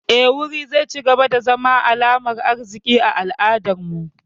Eh, wuri zai cigaba da zama alamar arziki a al'adar mu